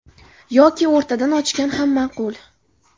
Yoki o‘rtadan ochgan ham ma’qul.